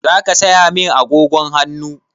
Zaka saya min agogon hannu?